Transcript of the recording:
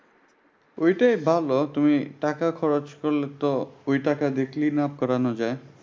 ঐটাই ভালো। তুমি টাকা খরচ করলে তো ঐ টাকা দিয়ে cleanup করা যায়।